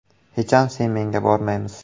Hecham sen-menga bormaymiz.